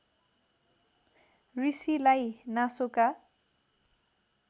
ऋषिलाई नासोका